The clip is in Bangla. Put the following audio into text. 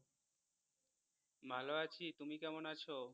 ভালো আছি তুমি কেমন আছো?